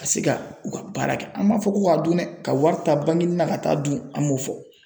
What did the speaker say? Ka se ka u ka baara kɛ an m'a fɔ k'o ka dun dɛ ka wari ta banginin na ka taa dun an m'o fɔ.